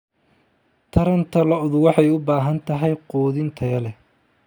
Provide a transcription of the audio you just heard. Taranta lo'du waxay u baahan tahay quudin tayo leh.